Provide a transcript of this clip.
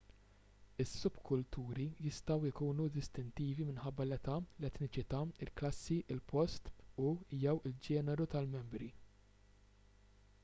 is-subkulturi jistgħu jkunu distintivi minħabba l-età l-etniċità il-klassi il-post u/jew il-ġeneru tal-membri